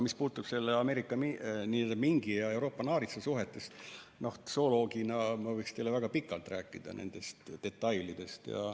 Mis puutub selle mingi ja Euroopa naaritsa suhetesse, siis zooloogina ma võiks teile väga pikalt rääkida nendest detailidest.